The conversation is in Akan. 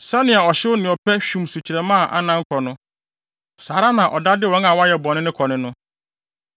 Sɛnea ɔhyew ne ɔpɛ hwim sukyerɛmma a anan kɔ no, saa ara na ɔda de wɔn a wɔayɛ bɔne kɔ ne no.